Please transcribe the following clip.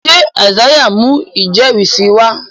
ṣe Isaiah ń mú ijẹrisi sí wá?